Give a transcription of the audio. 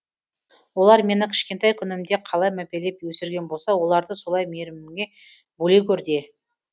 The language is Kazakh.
олар мені кішкентай күнімде қалай мәпелеп өсірген болса оларды солай мейіріміңе бөлей гөр де